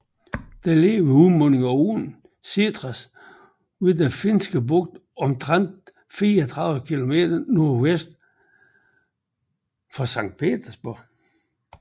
Den ligger ved udmundingen af åen Sestra ved Den Finske Bugt omtrent 34 kilometer nordvest for Sankt Petersborg